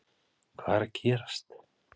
Hvað er að gerast???